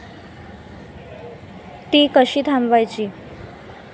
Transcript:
ती कशी थांबवायची?